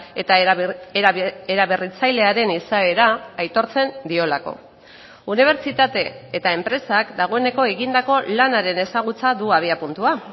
eta eraberritzailearen izaera aitortzen diolako unibertsitate eta enpresak dagoeneko egindako lanaren ezagutza du abiapuntua